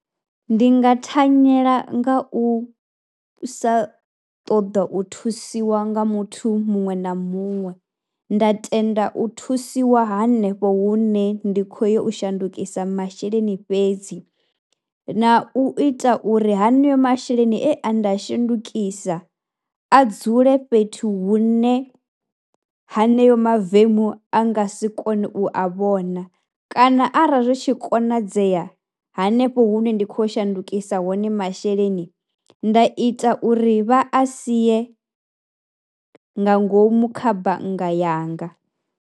Ndi nga thanyela nga u sa ṱoḓa u thusiwa nga muthu muṅwe na muṅwe, nda tenda u thusiwa hanefho hune ndi khou ya u shandukisa masheleni fhedzi na u ita uri haneyo masheleni e nda a shandukisa a dzule fhethu hune haneyo mavemu a nga si kone u a vhona kana arali zwi tshi konadzea hanefho hune ndi khou ya u shandukisa hone masheleni, nda ita uri vha a sie nga ngomu kha bannga yanga.